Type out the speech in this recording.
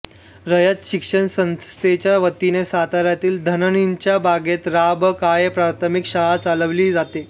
रयत शिक्षण संस्थेच्या वतीने साताऱ्यातील धनणीच्या बागेत रा ब काळे प्राथमिक शाळा चालवली जाते